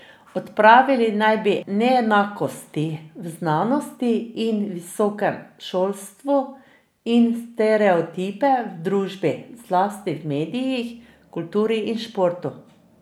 Odpravili naj bi neenakosti v znanosti in visokem šolstvu in stereotipe v družbi, zlasti v medijih, kulturi in športu.